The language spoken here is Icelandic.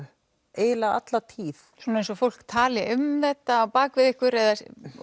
eiginlega alla tíð svona eins og fólk tali um þetta á bak við ykkur eða